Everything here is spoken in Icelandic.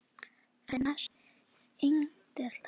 Þetta nefnist eiginhreyfing.